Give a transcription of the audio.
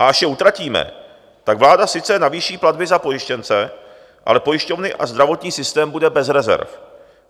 A až je utratíme, tak vláda sice navýší platby za pojištěnce, ale pojišťovny a zdravotní systém bude bez rezerv,